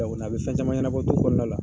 a bɛ fɛn caman ɲɛnabɔ du kɔnɔ.